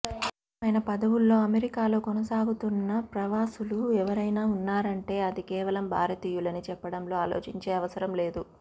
కీలక మైన పదవుల్లో అమెరికాలో కొనసాగుతున్న ప్రవాసులు ఎవరైనా ఉన్నారంటే అది కేవలం భారతీయులని చెప్పడంలో ఆలోచించే అవసరం లేదు